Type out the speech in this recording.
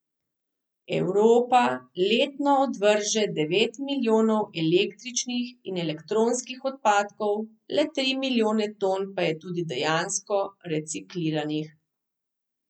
Evropa letno odvrže devet milijonov električnih in elektronskih odpadkov, le tri milijone ton pa je tudi dejansko recikliranih.